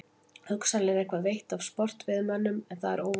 Hugsanlega er eitthvað veitt af sportveiðimönnum en það er óverulegt.